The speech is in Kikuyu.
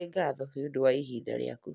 Nĩ ngatho nĩ ũndũ wa ihinda rĩaku